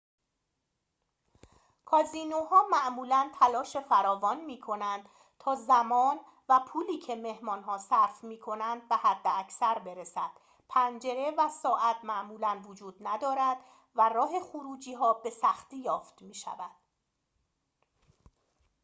کازینوها معمولاً تلاش فراوان می‌کنند تا زمان و پولی که مهمان‌ها صرف می‌کنند به حداکثر برسد پنجره و ساعت معمولاً وجود ندارد و راه خروجی‌ها به سختی یافت می‌شود